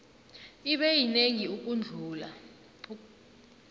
ibe yinengi ukudlula